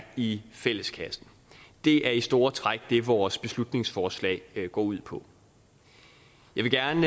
i fælleskassen det er i store træk det vores beslutningsforslag går ud på jeg vil gerne